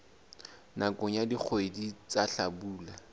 nakong ya dikgwedi tsa hlabula